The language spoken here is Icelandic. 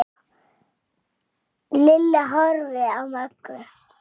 Lilla horfði á Möggu.